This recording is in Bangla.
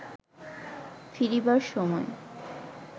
ফিরিবার সময়